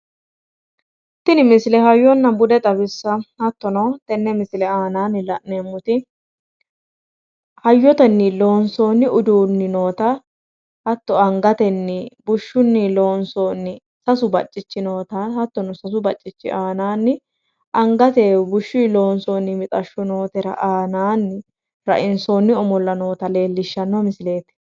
tini misile hayyonna bude xawissanno hattono tenne misile aanaanni la'neemmoti hayyotenni loonsoonni udiinni noota hattono angatnii bushshunni loonsooni sasu baccichi noota hattono aanaanni rainsoonni omolla noota leelishshanno misileeti.